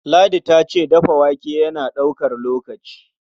Ladi ta ce dafa wake yana ɗaukar lokaci.